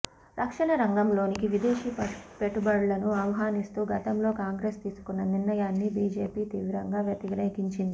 రక్షణ రంగంలోనికి విదేశీ పెట్టుబడులను ఆహ్వానిస్తూ గతంలో కాంగ్రెస్ తీసుకున్న నిర్ణయాన్ని బిజెపి తీవ్రంగా వ్యతిరేకించింది